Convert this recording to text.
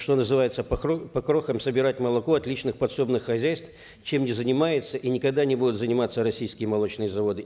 что называется по крохам собирать молоко от личных подсобных хозяйств чем не занимаются и никогда не будут заниматься российские молочные заводы